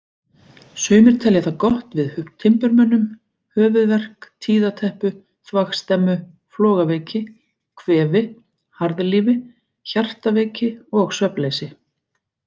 Sumir telja það gott við timburmönnum, höfuðverk, tíðateppu, þvagstemmu, flogaveiki, kvefi, harðlífi, hjartveiki og svefnleysi.